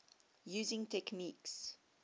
using techniques